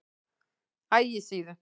Ægissíðu